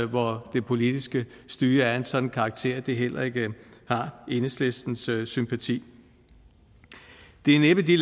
hvor det politiske styre er af en sådan karakter at det heller ikke har enhedslistens sympati det er næppe de